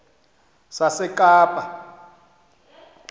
sasekapa